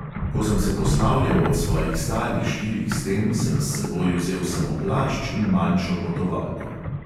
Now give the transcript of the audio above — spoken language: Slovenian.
Ko sem se poslavljal od svojih starih štirih sten, sem s seboj vzel samo plašč in manjšo potovalko.